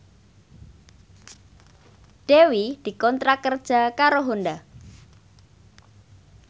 Dewi dikontrak kerja karo Honda